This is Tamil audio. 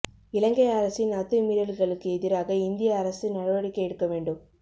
இலங்கை அரசின் அத்துமீறல்களுக்கு எதிராக இந்திய அரசு நடவடிக்கை எடுக்க வேண்டும்